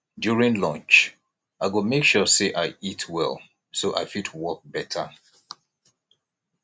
during lunch i go make sure say i eat well so i fit work better